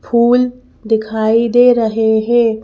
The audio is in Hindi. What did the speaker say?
फूलदिखाई दे रहे हैं।